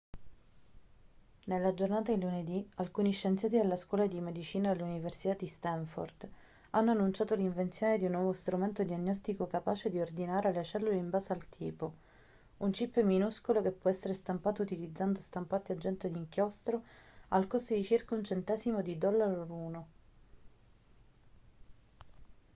nella giornata di lunedì alcuni scienziati della scuola di medicina dell'università di stanford hanno annunciato l'invenzione di un nuovo strumento diagnostico capace di ordinare le cellule in base al tipo un chip minuscolo che può essere stampato utilizzando stampanti a getto di inchiostro al costo di circa 1 centesimo di dollaro l'uno